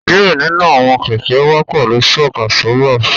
Diẹ ninu awọn kẹkẹ wà pẹlú shock absorbers